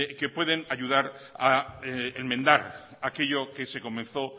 que pueden ayudar a enmendar aquello que se comenzó